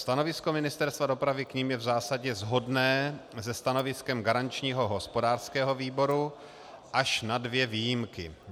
Stanovisko Ministerstva dopravy k nim je v zásadě shodné se stanoviskem garančního hospodářského výboru, až na dvě výjimky.